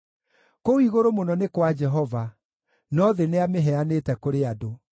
Kũu igũrũ mũno nĩ kwa Jehova, no thĩ nĩamĩheanĩte kũrĩ andũ.